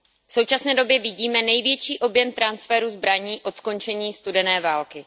V současné době vidíme největší objem transferu zbraní od skončení studené války.